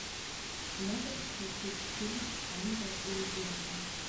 можешь включить фильм ангел или демон